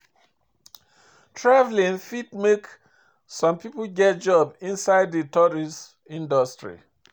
Travelling fit make some pipo get job inside di tourist industry